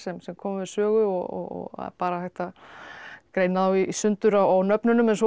sem koma við sögu og bara hægt að greina þá í sundur á nöfnunum en svo eru